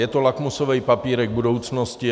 Je to lakmusový papírek budoucnosti.